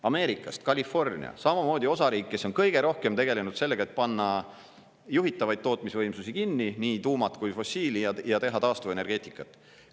Ameerikast California – samamoodi osariik, kes on kõige rohkem tegelenud sellega, et panna juhitavaid tootmisvõimsusi kinni, nii tuumad kui fossiilijad, ja teha taastuvenergeetikat.